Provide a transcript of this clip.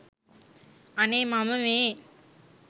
අනේ මම මේ